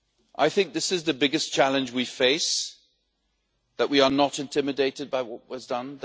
I think this is the biggest challenge we face that we are not intimidated by what was done